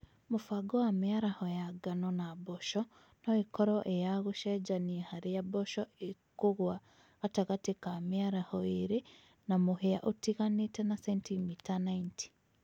mũbango wa mĩaraho ya ngano na mboco noĩkorwo ĩya gũcenjania harĩa mboco ĩkũgũa gatagatĩ kaa mĩaraho ĩĩrĩ ya mũhĩa ũtiganĩte na sentimita 90